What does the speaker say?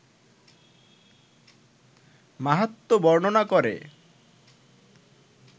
মাহাত্ম্য বর্ণনা করে